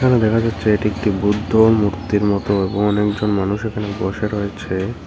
এখানে দেখা যাচ্ছে এটি একটি বুদ্ধ মূর্তির মতো এবং অনেকজন মানুষ এখানে বসে রয়েছে।